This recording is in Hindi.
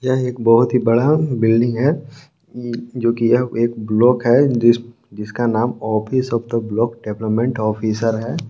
यह एक ही बहुत बड़ा बिल्डिंग है। जो की यह एक ब्लॉक है जिसका नाम office of the block development officer है।